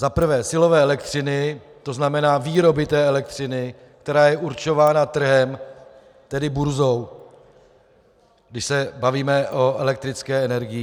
Za prvé silové elektřiny, to znamená výroby té elektřiny, která je určována trhem, tedy burzou, když se bavíme o elektrické energii.